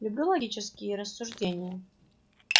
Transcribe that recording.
люблю логические рассуждения